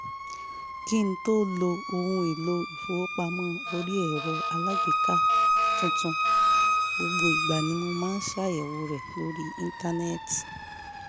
kí n tó lo ohun èlò ìfowópamọ́ orí ẹ̀rọ alágbèéká tuntun gbogbo ìgbà ni mo máa ń ṣàyẹ̀wò rẹ̀ lórí íńtánẹ́ẹ̀tì